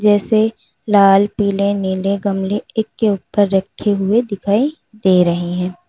जैसे लाल पीले नीले गमले एक के ऊपर रखे हुए दिखाई दे रहे हैं।